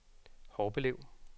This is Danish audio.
Horbelev